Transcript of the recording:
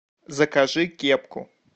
закажи кепку